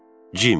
Cim.